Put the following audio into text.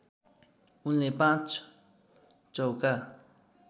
उनले पाँच चौका